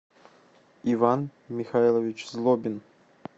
иван михайлович злобин